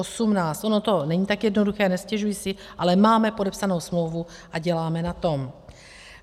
Ono to není tak jednoduché, nestěžuji si, ale máme podepsanou smlouvu a děláme na tom.